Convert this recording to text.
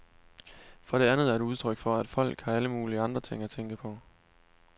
For det andet er det udtryk for, at folk har alle mulige andre ting at tænke på.